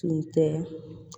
Tun tɛ